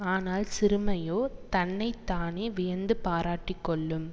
ஆனால் சிறுமையோ தன்னை தானே வியந்துப் பாராட்டிக் கொள்ளும்